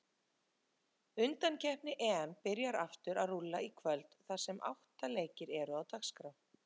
Undankeppni EM byrjar aftur að rúlla í kvöld þar sem átta leikir eru á dagskrá.